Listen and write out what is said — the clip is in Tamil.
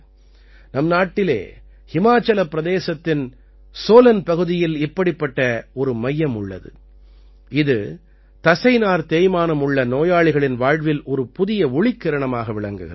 நம் நாட்டிலே ஹிமாச்சல் பிரதேசத்தின் சோலன் பகுதியில் இப்படிப்பட்ட ஒரு மையம் உள்ளது இது தசைநார் தேய்மானம் உள்ள நோயாளிகளின் வாழ்வில் ஒரு புதிய ஒளிக்கிரணமாக விளங்குகிறது